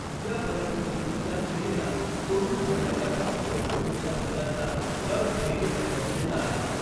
या परिस्थितीत या क्रियेला तोलून धरण्यासाठी एक पुढच्या भागातला जड स्थैर्यक गरजेचा आहे.